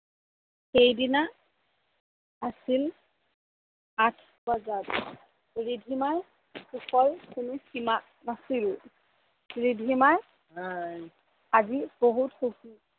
সেইদিনা আছিল আঠ প্ৰসাদ, ৰিধিমাৰ সুখৰ কোনো সিমা নাচিল। ৰিধিমা আজি বহুত সুখী